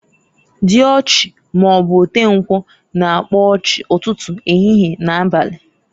Diochi maọbụ otenkwu, na-agba ochi, ụtụtụ, ehihie, na abali.